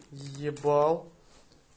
ебал